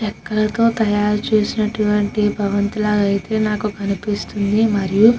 రేక్లాతూ తాయారు చేసినటు అయతె ఈ భవంతి మనకు కనిపిస్తుంది. మరియు --